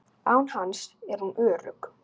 Án hans er hún örugg.